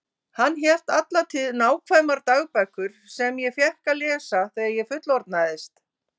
Hann hélt alla tíð nákvæmar dagbækur sem ég fékk að lesa þegar ég fullorðnaðist.